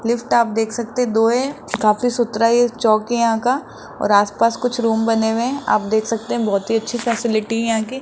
Lift आप देख सकते दो हैं काफी सुथरा यह चौक है यहां का और आसपास कुछ रूम बने हुए हैं आप देख सकते हैं बहुत ही अच्छे फैसिलिटी है यहां की।